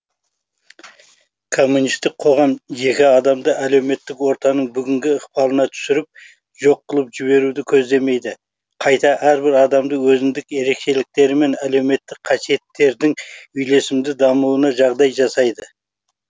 коммунистік қоғам жеке адамды әлеуметтік ортаның бүгінгі ықпалына түсіріп жоқ қылып жіберуді көздемейді қайта әрбір адамды өзіндік ерекшеліктері мен әлеуметтік қасиеттердің үйлесімді дамуына жағдай жасайды